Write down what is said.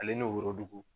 Ale n'o dugu